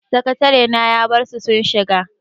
Sakatarena ya barsu sun shiga.